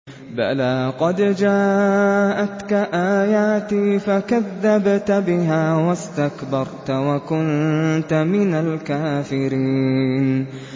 بَلَىٰ قَدْ جَاءَتْكَ آيَاتِي فَكَذَّبْتَ بِهَا وَاسْتَكْبَرْتَ وَكُنتَ مِنَ الْكَافِرِينَ